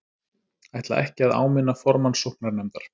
Ætla ekki að áminna formann sóknarnefndar